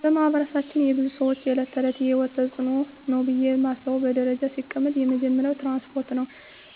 በማህበረሰባችን የብዙ ሰወች የእለት ተእለት የሂወት ተጽኖ ነው ብየ ማስበው በደረጃ ሲቀመጥ የመጀመሪያው ትራንስፓርት ነው።